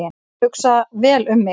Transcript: Hugsa vel um mig